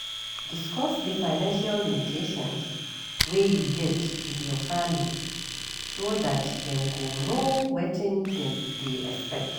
Discuss di financial limitations wey you get with your family so dat dem go know wetin dem dey expect